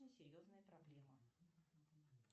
серьезная проблема